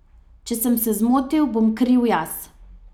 Če sem se zmotil, bom kriv jaz.